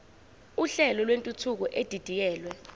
uhlelo lwentuthuko edidiyelwe